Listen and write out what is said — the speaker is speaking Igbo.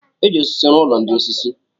E ji osisi rụọ ụlọ ndị osisi.